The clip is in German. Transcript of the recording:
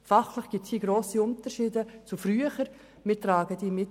Fachlich gibt es grosse Unterschiede zu früher, und diese tragen wir mit.